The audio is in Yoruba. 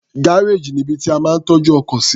Gárèjì ní ibi tí a máa ń tọ́jú ọkọ̀ sí.